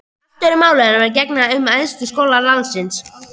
Allt öðru máli er að gegna um æðstu skóla landsins.